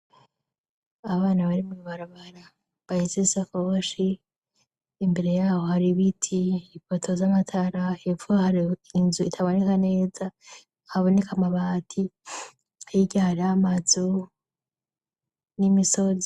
Abana bari mw'ibarabara bahetse isakoshi, imbere yaho hari ibiti, ipoto z'amatara, hepfo hari inzu itaboneka neza haboneka amabati, hirya hariho amazu n'imisozi.